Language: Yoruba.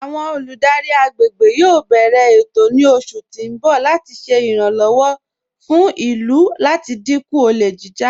Awọn olùdárí agbègbè yóò bẹ̀rẹ̀ ètò ní oṣù tí n bọ̀ láti ṣè iràǹlọ́wọ̀ fún ilú láti dínkú ọ̀lẹ̀ jijá.